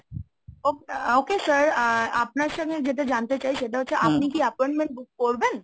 ok~ ah okay sir ah আপনার সঙ্গে যেটা জানতে চাই সেটা হচ্ছে আপনি কি appointment book করবেন?